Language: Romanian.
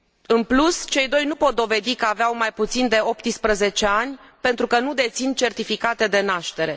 În plus, cei doi nu pot dovedi că aveau mai puțin de 18 ani pentru că nu dețin certificate de naștere.